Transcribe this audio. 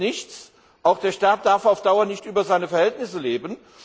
Es nützt nichts, auch der Staat darf auf Dauer nicht über seine Verhältnisse leben.